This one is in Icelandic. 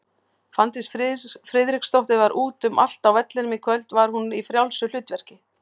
Fanndís Friðriksdóttir var út um allt á vellinum í kvöld, var hún í frjálsu hlutverki?